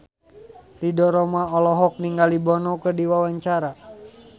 Ridho Roma olohok ningali Bono keur diwawancara